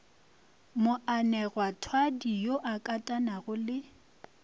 moanegwathwadi yo a katanago le